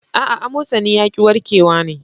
Aa, amosani yaƙi yarke wa ne